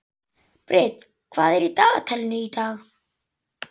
Brit, hvað er í dagatalinu í dag?